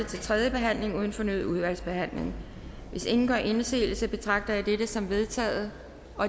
til tredje behandling uden fornyet udvalgsbehandling hvis ingen gør indsigelse betragter det som vedtaget